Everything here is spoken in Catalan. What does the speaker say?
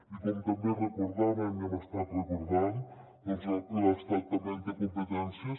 i com també recordàvem i hem estat recordant doncs l’estat també en té competències